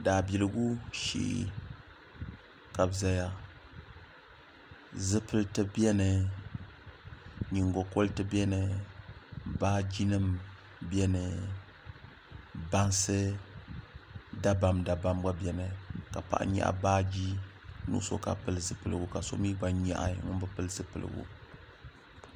daabiligu shee ka bi ʒɛya zipiliti biɛni nyingokori biɛni baaji nim biɛni bansi dabam dabam biɛni ka paɣa nyaɣa baaji nuɣso ka pili zipiligu ka so mii gba nyaɣi ŋun bi pili zipiligu